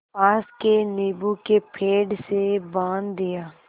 पास के नीबू के पेड़ से बाँध दिया